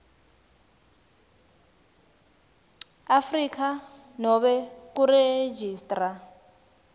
afrika nobe kuregistrar